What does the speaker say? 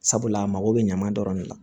Sabula a mago bɛ ɲama dɔrɔn de la